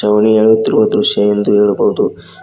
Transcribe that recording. ಅವು ನೇಯುತ್ತಿರುವ ದೃಶ್ಯ ಎಂದು ಹೇಳಬಹುದು.